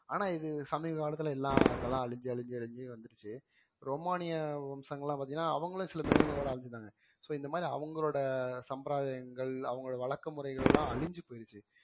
ஆனா இது சமீப காலத்துல எல்லாம் இதெல்லாம் அழிஞ்சு அழிஞ்சு அழிஞ்சு வந்துருச்சு ரோமானிய வம்சங்கள்லாம் பாத்தீங்கன்னா அவங்களும் சில மிருகங்களோட அழிஞ்சிட்டாங்க so இந்த மாதிரி அவங்களோட சம்பிரதாயங்கள் அவங்களோட வழக்க முறைகள்லாம் அழிஞ்சு போயிருச்சு